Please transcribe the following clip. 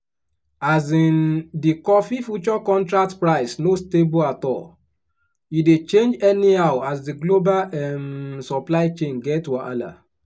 um di coffee future contract price no stable at all e dey change anyhow as di global um supply chain get wahala.